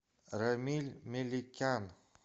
рамиль меликян